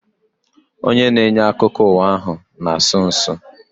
Onye na-enye akụkọ ụwa ahu na-asụ nsụ